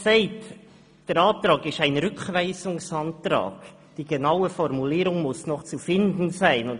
Bei diesem Antrag handelt sich um einen Rückweisungsantrag, wobei die genaue Formulierung noch zu finden ist.